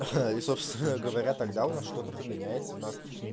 ха-ха и собственно говоря тогда у нас что-то поменяется у нас